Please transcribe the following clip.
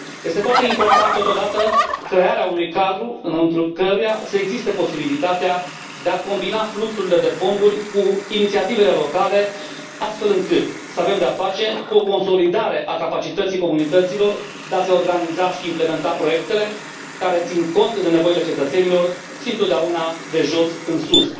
Este foarte importantă totodată crearea unui cadru înăuntrul căruia să existe posibilitatea de a combina fluxurile de fonduri cu inițiativele locale, astfel încât să avem de a face cu o consolidare a capacității comunităților de a se organiza și de a implementa proiectele, care țin cont de nevoile cetățenilor și întotdeauna de jos în sus.